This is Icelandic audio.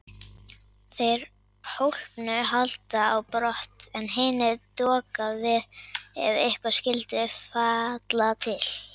Þeir hólpnu halda á brott en hinir doka við ef eitthvað skyldi falla til.